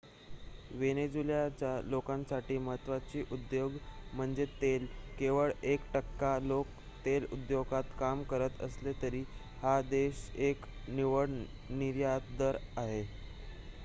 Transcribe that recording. वेनेझुएलाच्या लोकांसाठी महत्वाचा उद्योग म्हणजे तेल केवळ एक टक्का लोक तेल उद्योगात काम करत असले तरी हा देश एक निव्वळ निर्यातदार आहे